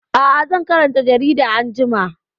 Aa, zan karanta jaridar anjima